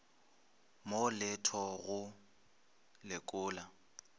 mo le tho go lekola